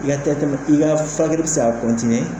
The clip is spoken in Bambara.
I ka i ka farakɛli se ka